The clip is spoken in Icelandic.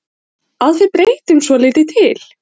Að við breytum svolítið til.